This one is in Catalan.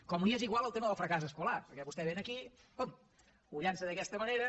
com li és igual el tema del fracàs escolar perquè vostè aquí pum ho llança d’aquesta manera